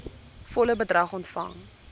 volle bedrag ontvang